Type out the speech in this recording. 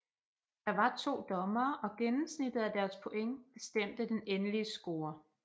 Der var to dommere og gennemsnittet af deres point bestemte den endelige score